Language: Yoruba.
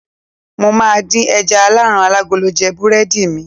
mo ma di eja alaran alagolo je burẹdi mi